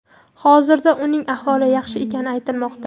Hozirda uning ahvoli yaxshi ekani aytilmoqda.